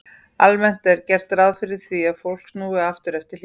Almennt er gert ráð fyrir því að fólk snúi aftur eftir hlé.